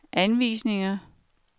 anvisninger